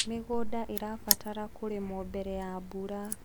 mĩgũnda irabatara kũrimwo mbere ya mbura